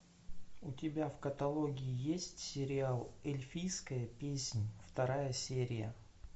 у тебя в каталоге есть сериал эльфийская песнь вторая серия